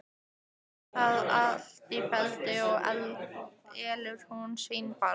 Fer það allt með felldu, og elur hún sveinbarn.